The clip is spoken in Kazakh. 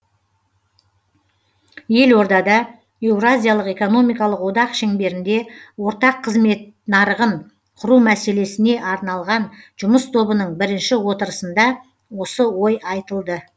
елордада еуразиялық экономикалық одақ шеңберінде ортақ қызмет нарығын құру мәселесіне арналған жұмыс тобының бірінші отырысында осы ой айтылды